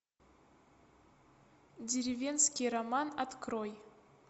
деревенский роман открой